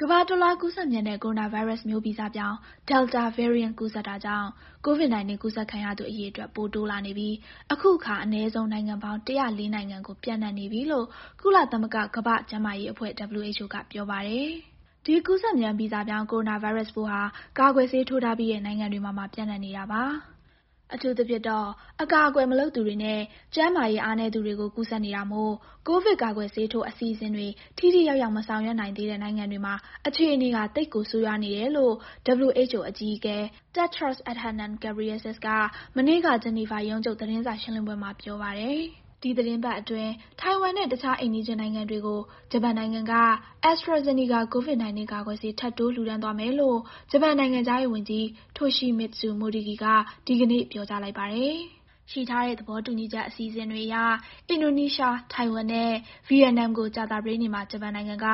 ကမ္ဘာတလွှား ကူးစက်မြန်တဲ့ ကိုရိုနာဗိုင်းရပ်စ်မျိုးဗီဇပြောင်း Delta Variant ကူးစက်တာကြောင့် ကိုဗစ် ၁၉ အကူးစက်ခံရသူ အရေအတွက် ပိုတိုးလာနေပြီး အခုအခါ အနည်းဆုံး နိုင်ငံပေါင်း ၁၀၄ နိုင်ငံ ကို ပျံ့နှံ့နေပြီလို့ ကုလသမဂ္ဂ ကမ္ဘာ့ကျန်းမာရေးအဖွဲ့ WHO က ပြောပါတယ်။ ဒီကူးစက်မြန်ဗီဇပြောင်း ကိုရိုနာဗိုင်းရပ်စ်ပိုးဟာ ကာကွယ်ဆေးထိုးထားပြီးတဲ့ နိုင်ငံတွေမှာပါ ပျံ့နှံ့နေတာပါ။ အထူးသဖြင့် အကာအကွယ် မလုပ်သူတွေနဲ့ ကျန်းမာရေး အားနည်းသူတွေ ကို ကူးစက်နေတာမို့ ကိုဗစ် ကာကွယ်ဆေးထိုး အစီအစဉ်တွေ ထိထိရောက်ရောက် မဆောင်ရွက်နိုင်သေးတဲ့ နိုင်ငံတွေမှာအခြေနေဟာ သိပ်ကို ဆိုးဝါးလာနေတယ်လို့ WHO အကြီးအကဲ Tedros Adhanom Ghebreyesus က မနေ့က ဂျနီဗာရုံးချုပ် သတင်းစာရှင်းလင်းပွဲမှာ ပြောပါတယ်။ ဒီသီတင်းပတ်အတွင်း ထိုင်ဝမ်နဲ့ တခြားအိမ်နီးချင်းနိုင်ငံတွေကို ဂျပန်နိုင်ငံက AstraZeneca COVID-19 ကာကွယ်ဆေး ထပ်တိုးလှုဒါန်းသွားမယ်လို့ ဂျပန်နိုင်ငံခြားရေး ဝန်ကြီး Toshimitsu Motegi က ဒီကနေ့ ပြောလိုက်ပါတယ်။ ရှိထားတဲ့ သဘောတူချက် အစီအစဉ်တွေအရ အင်ဒိုနီးရှား၊ ထိုင်ဝမ်နဲ့ ဗီယက်နမ်ကို ကြာသပတေးနေ့မှာ ဂျပန်နိုင်ငံက